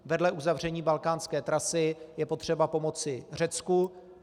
Vedle uzavření balkánské trasy je potřeba pomoci Řecku.